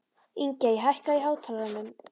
Ingey, hækkaðu í hátalaranum.